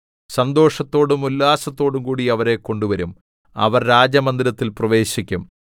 സന്തോഷത്തോടും ഉല്ലാസത്തോടും കൂടി അവരെ കൊണ്ടുവരും അവർ രാജമന്ദിരത്തിൽ പ്രവേശിക്കും